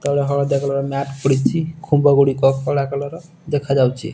ତଳେ ହଳଦିଆ colour matte ପଡ଼ିଚି ଖୁମ୍ବଗୁଡ଼ିକ କଳା କଲର ଦେଖାଯାଇଚି।